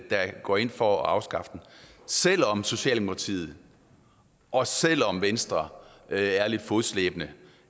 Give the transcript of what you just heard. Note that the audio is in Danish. der går ind for at afskaffe den selv om socialdemokratiet og selv om venstre er lidt fodslæbende